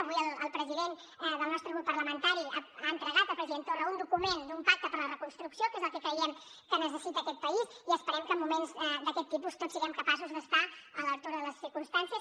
avui el president del nostre grup parlamentari ha entregat al president torra un document d’un pacte per a la reconstrucció que és el que creiem que necessita aquest país i esperem que en moments d’aquest tipus tots siguem capaços d’estar a l’altura de les circumstàncies